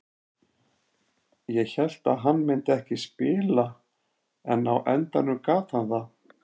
Ég hélt að hann myndi ekki spila en á endanum gat hann það.